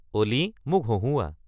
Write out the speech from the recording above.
অ'লি মোক হঁহুওৱা